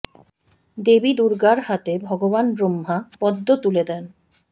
দেবী দুর্গার হাতে ভগবান ব্রহ্মা পদ্ম তুলে দেন